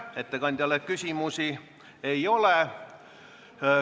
Ettekandjale küsimusi ei ole.